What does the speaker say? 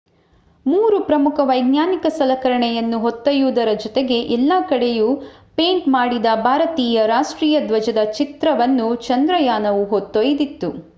ಮೂರು ಪ್ರಮುಖ ವೈಜ್ಞಾನಿಕ ಸಲಕರಣೆಯನ್ನು ಹೊತ್ತೊಯ್ಯುವುದರ ಜೊತೆಗೆ ಎಲ್ಲ ಕಡೆಯೂ ಪೇಂಟ್ ಮಾಡಿದ ಭಾರತೀಯ ರಾಷ್ಟ್ರೀಯ ಧ್ವಜದ ಚಿತ್ರವನ್ನು ಚಂದ್ರಯಾನವು ಹೊತ್ತೊಯ್ದಿತ್ತು